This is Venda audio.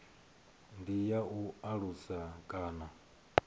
ndi ya u alusa kana